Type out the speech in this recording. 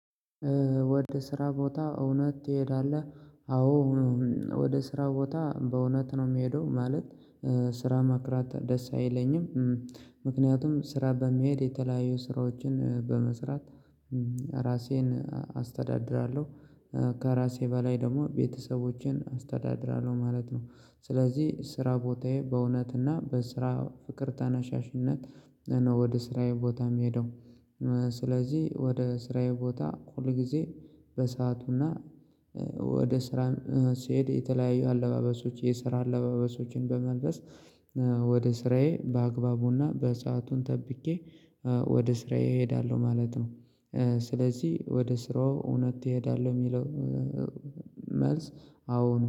ወደ ስራ ቦታ እውነት ትሄዳለህ? አዎ ወደ ስራ ቦታ በእውነት ነው የምሄደው ማለት። ስራ ማቅረት ደስ አይለኝም። ምክንያቱም ስራ በመሄድ የተለያዩ ስራዎችን በመስራት ራሴን አስተዳድራለሁ። ከራሴ በላይ ደግሞ ቤተሰቦቼን አስተዳድራለሁ ማለት ነው። ስለዚህ ስራ ቦታዬ በእውነትና በስራ ፍቅር ተናሳሽነት ነው ወደ ስራዬ ቦታም የምሄደው። ስለዚህ ወደ ስራዬ ቦታ ሁል ጊዜ በሰአቱና ወደ ስራ ስሄድ የተለያዩ አለባበሶች የስራ አለባበሶችን በመልበስ ወደ ስራዬ በአግባቡና በሰአቱን ጠብቄ ወደ ስራዬ እሄዳለሁ ማለት ነው። ስለዚህ ወደ ስራው እውነት ትሄዳለህ የሚለው? መልስ አዎ ነው